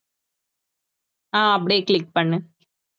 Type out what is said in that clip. அஹ் அப்படியே click பண்ணு